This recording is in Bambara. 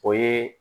O ye